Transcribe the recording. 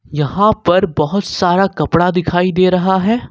यहां पर बहोत सारा कपड़ा दिखाई दे रहा है।